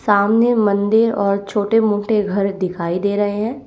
सामने मंदिर और छोटे मोटे घर दिखाई दे रहे हैं।